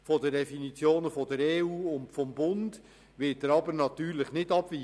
Von den Definitionen der EU und des Bundes wird der Kanton natürlich nicht abweichen.